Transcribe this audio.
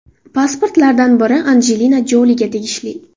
Pasportlardan biri Anjelina Joliga tegishli.